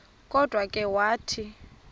kodwa ke wathi